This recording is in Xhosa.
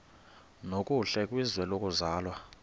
nokuhle kwizwe lokuzalwa